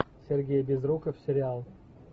сергей безруков сериал